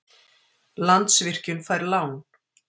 Landsvirkjun fær lán